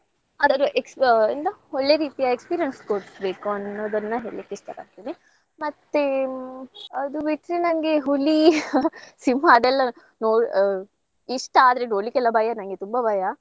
ಅದರ ex~ ಅಂದ್ರೆ ಒಳ್ಳೆ ರೀತಿಯ experience ತೋರಸ್ಬೇಕು ಅನ್ನೋದನ್ನ ಹೇಳ್ಲಿಕ್ಕೆ ಇಷ್ಟಪಡ್ತೀನಿ. ಮತ್ತೆ ಅದು ಬಿಟ್ರೆ ನಂಗೆ ಹುಲಿ, ಸಿಂಹ ಅದೆಲ್ಲ ನೊ~ ಆ ಇಷ್ಟ ಆದ್ರೆ ನೋಡ್ಲಿಕ್ಕೆಲ್ಲ ಭಯ ನಂಗೆ ತುಂಬಾ ಭಯ.